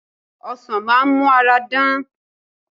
Ọsàn á máa mú ara dán